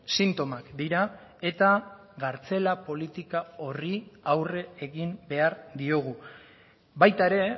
sintomak dira eta kartzela politika horri aurre egin behar diogu baita ere